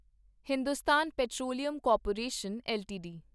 Hindustan petroleum corporation LTD